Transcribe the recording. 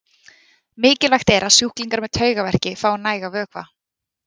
Mikilvægt er að sjúklingar með taugaveiki fái nægan vökva.